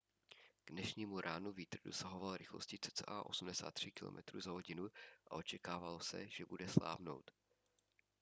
k dnešnímu ránu vítr dosahoval rychlosti cca 83 km/h a očekávalo se že bude slábnout